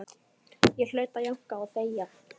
Ég hlaut að jánka og þegja.